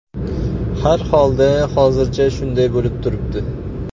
Har xolda hozircha shunday bo‘lib turibdi.